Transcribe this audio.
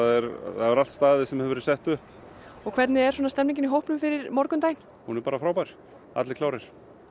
það hefur allt staðist sem hefur verið sett upp og hvernig er stemningin í hópnum fyrir morgundeginum hún er bara frábær allir klárir